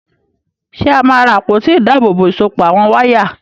Ṣé a máa ra àpótí ìdábòòbò ìsopọ̀ àwọn wáyà?